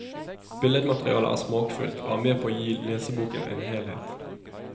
Billedmaterialet er smakfullt, og er med på å gi leseboken en helhet.